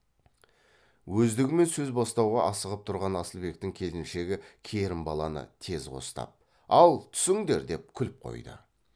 өздігімен сөз бастауға асығып тұрған асылбектің келіншегі керімбаланы тез қостап ал түсіңдер деп күліп қойды